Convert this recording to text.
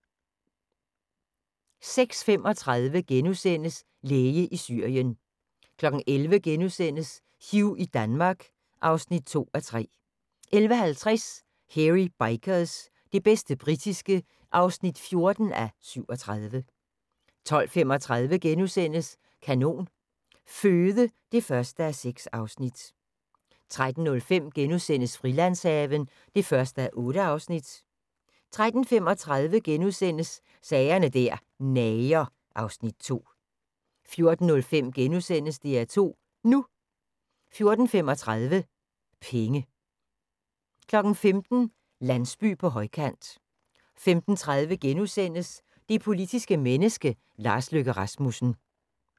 06:35: Læge i Syrien * 11:00: Hugh i Danmark (2:3)* 11:50: Hairy Bikers – det bedste britiske (14:37) 12:35: Kanon Føde (1:6)* 13:05: Frilandshaven (1:8)* 13:35: Sager der nager (Afs. 2)* 14:05: DR2 NU * 14:35: Penge 15:00: Landsby på højkant 15:30: Det politiske menneske - Lars Løkke Rasmussen *